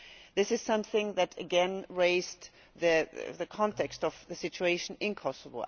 This is something that again raised the context of the situation in Kosovo.